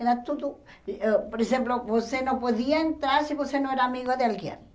Era tudo ãh... Por exemplo, você não podia entrar se você não era amigo de alguém.